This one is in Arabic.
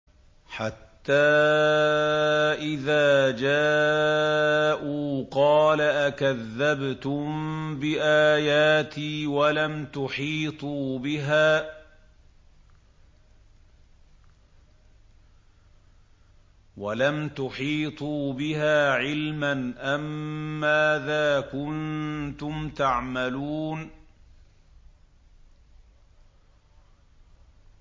حَتَّىٰ إِذَا جَاءُوا قَالَ أَكَذَّبْتُم بِآيَاتِي وَلَمْ تُحِيطُوا بِهَا عِلْمًا أَمَّاذَا كُنتُمْ تَعْمَلُونَ